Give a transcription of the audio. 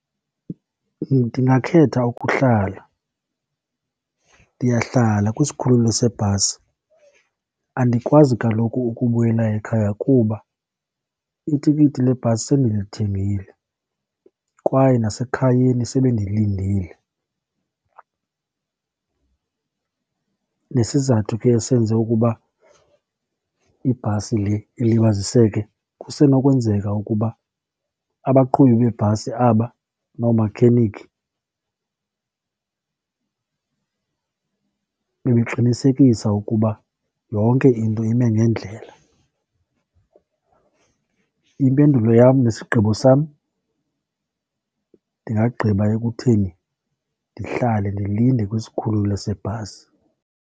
Ndingakhetha ukuhlala, ndiyahlala kwisikhululo sebhasi. Andikwazi kaloku ukubuyela ekhaya kuba itikiti lebhasi sendilithengile kwaye nasekhayeni sebendilindile. Nesizathu ke esenze ukuba ibhasi le ilibaziseke kusenokwenzeka ukuba abaqhubi bebhasi aba noomakhenikhi bebeqinisekisa ukuba yonke into ime ngendlela. Impendulo yam nesigqibo sam, ndingagqiba ekutheni ndihlale ndilinde kwisikhululo sebhasi.